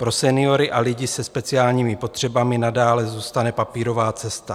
Pro seniory a lidi se speciálními potřebami nadále zůstane papírová cesta."